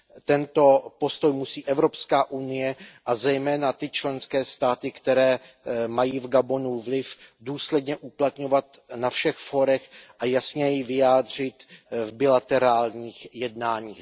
Tento postoj musí Evropská unie, a zejména ty členské státy, které mají v Gabonu vliv, důsledně uplatňovat na všech fórech a jasněji vyjádřit v bilaterálních jednáních.